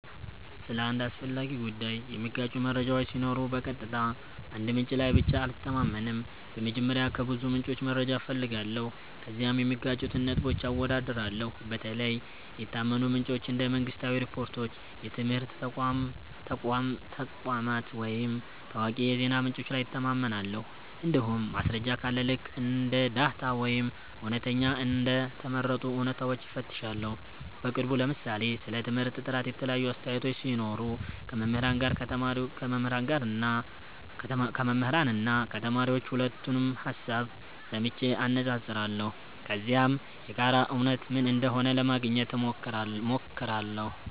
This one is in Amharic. ስለ አንድ አስፈላጊ ጉዳይ የሚጋጩ መረጃዎች ሲኖሩ በቀጥታ አንድ ምንጭ ላይ ብቻ አልተማመንም። በመጀመሪያ ከብዙ ምንጮች መረጃ እፈልጋለሁ፣ ከዚያም የሚጋጩትን ነጥቦች አወዳድራለሁ። በተለይ የታመኑ ምንጮች እንደ መንግሥታዊ ሪፖርቶች፣ የትምህርት ተቋማት ወይም ታዋቂ የዜና ምንጮች ላይ እተማመናለሁ። እንዲሁም ማስረጃ ካለ ልክ እንደ ዳታ ወይም እውነተኛ እንደ ተመረጡ እውነታዎች እፈትሻለሁ። በቅርቡ ለምሳሌ ስለ ትምህርት ጥራት የተለያዩ አስተያየቶች ሲኖሩ ከመምህራን እና ከተማሪዎች ሁለቱንም ሀሳብ ሰምቼ አነፃፅራለሁ። ከዚያም የጋራ እውነት ምን እንደሆነ ለማግኘት ሞክራለሁ።